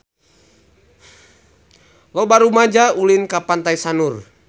Loba rumaja ulin ka Pantai Sanur